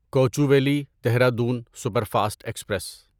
Kochuveli Dehradun superfast express